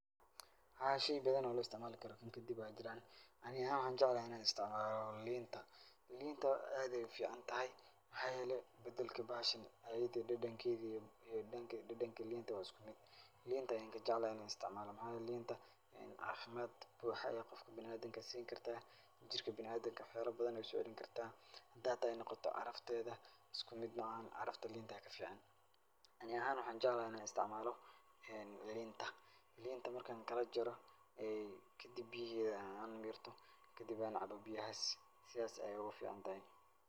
Haa shay badan oo lo isticmaali kara kadib aa jiran ani ahaan waxaan jeclahay inaan isticmaalo liinta. Liinta aad ayey u ficantahy maxaa yele badalki bahashan ayada iyo dadankedu iyi dadanka liinta waa isku mid liinta ayan ka jeclahay inaan isticmaalo maxaa yele liinta cafimaad buxa ayay qofka biniadamka sii karta jirka biniadamka waxyaala badan ayay u soocelin karta hadey noqota carafta isku mid maahan carafta liinta aa ka fican. Ani ahan waxaan jeclahay inaan isticmaalo liinta. Liinta markan kalajaro kadib biyaheda aan mirto kadib aan cabo biyahas sidas ayay oga ficantahy.